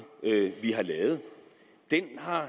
vi har lavet